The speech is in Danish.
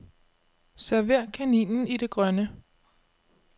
Server kaninen i det grønne.